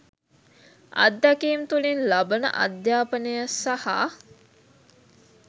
අද්දැකීම් තුලින් ලබන අධ්‍යාපනය සහ